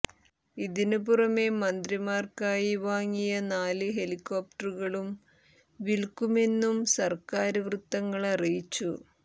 ഇതിനു പുറമേ മന്ത്രിമാര്ക്കായി വാങ്ങിയ നാല് ഹെലികോപ്റ്ററുകളും വില്ക്കുമെന്നും സര്ക്കാര് വൃത്തങ്ങള് അറിയിച്ചു